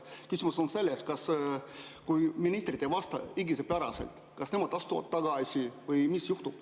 Küsimus on selles, kas siis, kui ministrid ei vasta õiguspäraselt, astuvad nad tagasi või mis juhtub.